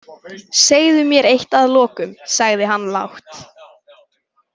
Segðu mér eitt að lokum, sagði hann lágt.